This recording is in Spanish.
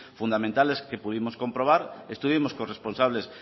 fundamentales que pudimos comprobar estuvimos con responsables